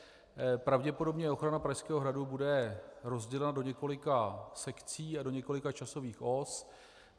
Pravděpodobně ochrana Pražského hradu bude rozdělena do několika sekcí a do několika časových os.